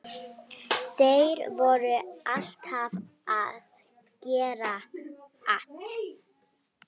Þeir voru alltaf að gera at.